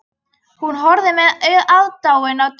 Hún horfði með aðdáun á Tóta.